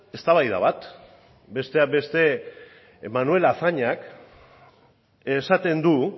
eztabaida bat besteak beste manuel azañak esaten du